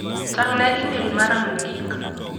Tang'na imel mara mogik.